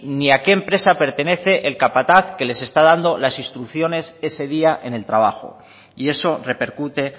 ni a qué empresa pertenece el capataz que les está dando las instrucciones ese día en el trabajo y eso repercute